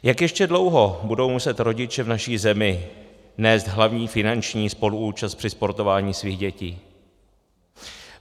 Jak ještě dlouho budou muset rodiče v naší zemi nést hlavní finanční spoluúčast při sportování svých dětí?